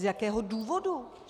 Z jakého důvodu?